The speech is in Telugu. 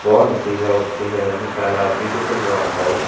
బావుంది పిజ్జా కూడా చూసేదానికి చాలా బ్యూటిఫుల్ గా ఉంటాయి.